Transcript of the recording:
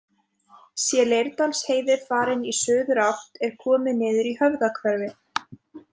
Sé Leirdalsheiði farin í suðurátt er komið niður í Höfðahverfi.